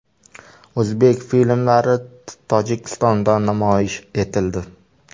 O‘zbek filmlari Tojikistonda namoyish etildi.